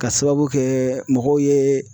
K'a sababu kɛ mɔgɔw ye